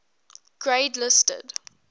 grade listed